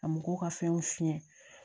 Ka mɔgɔw ka fɛnw fiɲɛ